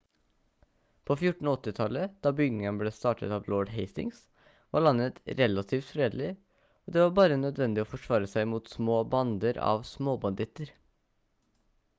på 1480-tallet da byggingen ble startet av lord hastings var landet relativt fredelig og det var bare nødvendig å forsvare seg mot små bander av småbanditter